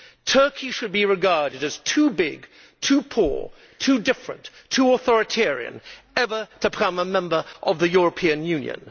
Turkey should be regarded as too big, too poor, too different and too authoritarian ever to become a member of the European Union.